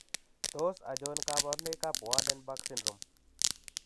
Tos achon kabarunaik ab Waardenburg syndrome ?